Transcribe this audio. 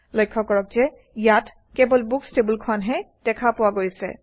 লক্ষ্য কৰক যে ইয়াত কেৱল বুকচ্ টেবুলখনহে দেখা পোৱা গৈছে